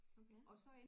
Okay